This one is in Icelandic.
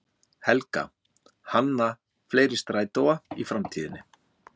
Helga: Hanna fleiri strætóa í framtíðinni?